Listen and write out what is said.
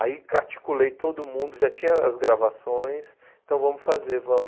Aí articulei todo mundo, já tinha as gravações, então vamos fazer, vamos.